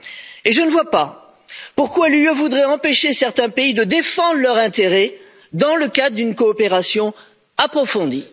Et je ne vois pas pourquoi l'Union voudrait empêcher certains pays de défendre leurs intérêts dans le cadre d'une coopération approfondie.